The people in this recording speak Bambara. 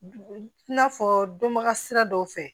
I n'a fɔ dɔnbaga sira dɔw fɛ